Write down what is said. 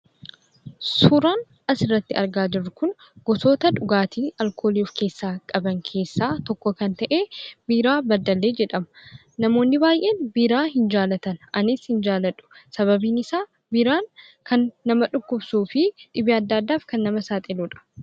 Suuraan asirratti argaa jirru gosoota dhugaatii alkoolii of keessaa qaban keessaa tokko kan ta'e Biiraa Beddellee jedhama. Namoonni baay'een biiraa hin jaalatan. Anis hin jaaladhu. Sababiin isaa, biiraan kan dhukkubsuu fi dhibee adda addaaf kan nama saaxiluudha.